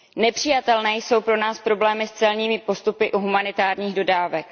Nepřijatelné jsou pro nás problémy s celními postupy u humanitárních dodávek.